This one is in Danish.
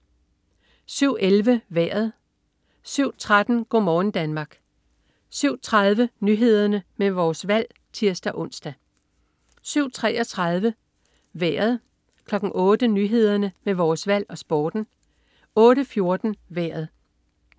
07.11 Vejret 07.13 Go' morgen Danmark 07.30 Nyhederne med Vores Valg (tirs-ons) 07.33 Vejret 08.00 Nyhederne med Vores Valg og Sporten 08.14 Vejret